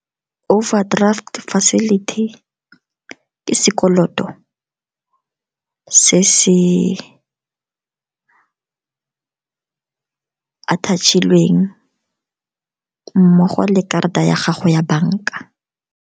Overdraft facility ke sekoloto se se attach-ilweng mmogo le karata ya gago ya banka.